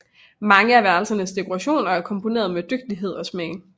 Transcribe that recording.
Mange af værelsernes dekorationer er komponerede med dygtighed og smag